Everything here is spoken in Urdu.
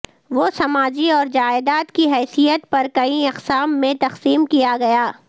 وہ سماجی اور جائیداد کی حیثیت پر کئی اقسام میں تقسیم کیا گیا